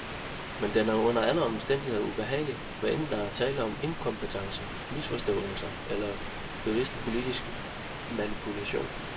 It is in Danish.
Men den er under alle omstændigheder ubehagelig, hvad enten der er tale om inkompetence, misforståelser eller bevidst politisk manipulation.